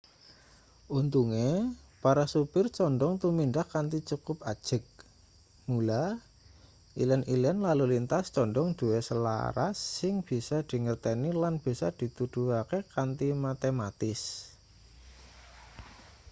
untunge para supir condhong tumindak kanthi cukup ajeg mula ilen-ilen lalu lintas condhong duwe salaras sing bisa dingerteni lan bisa dituduhake kanthi matematis